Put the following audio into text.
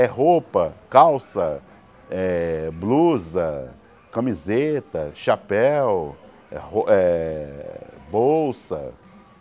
É roupa, calça, eh blusa, camiseta, chapéu, é rou eh bolsa.